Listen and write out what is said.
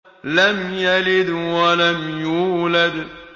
لَمْ يَلِدْ وَلَمْ يُولَدْ